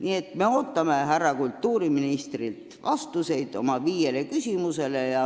Nii et me ootame härra kultuuriministrilt vastuseid oma viiele küsimusele.